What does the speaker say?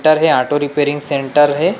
Centre हे auto repairing centre हे।